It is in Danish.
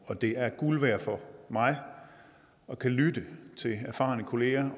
og det er guld værd for mig at kunne lytte til erfarne kolleger